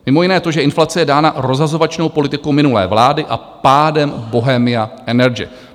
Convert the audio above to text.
Mimo jiné to, že inflace je dána rozhazovačnou politikou minulé vlády a pádem Bohemia Energy.